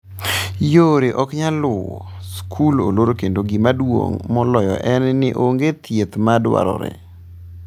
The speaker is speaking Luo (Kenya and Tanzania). Yore ok nyal luwo, skul olor kendo gima duong’ moloyo en ni onge thieth ma dwarore.